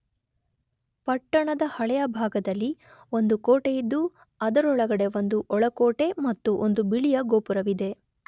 ಪಟ್ಟಣದ ಹಳೆಯ ಭಾಗದಲ್ಲಿ ಒಂದು ಕೋಟೆಯಿದ್ದು ಅದರೊಳಗಡೆ ಒಂದು ಒಳಕೋಟೆ ಮತ್ತು ಒಂದು ಬಿಳಿಯ ಗೋಪುರವಿದೆ.